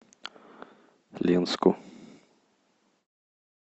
ленску